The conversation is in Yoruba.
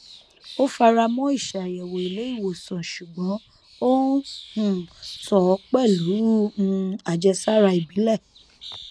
ó fara mọ ìṣàyẹwò ilé ìwòsàn ṣùgbọn ó n um tọ ọ pẹlú um àjẹsára ìbílẹ